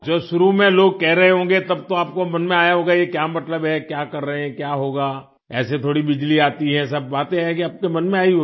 जो शुरू में लोग कह रहे होंगें तब तो आपको मन में आया होगा ये क्या मतलब है क्या कर रहे हैं क्या होगा ऐसे थोड़ी बिजली आती है ये सब बातें हैं कि आपके मन में आई होगी